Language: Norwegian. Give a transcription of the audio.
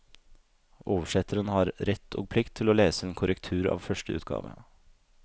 Oversetteren har rett og plikt til å lese en korrektur av første utgave.